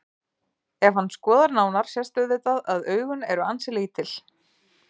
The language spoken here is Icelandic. Ef hann skoðar nánar sést auðvitað að augun eru ansi lítil.